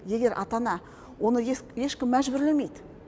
егер ата ана оны ешкім мәжбүрлемейді